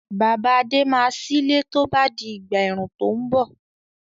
Bàbá Adé máa sílé tó bá di ìgbà ẹ̀rùn tó ń bọ̀.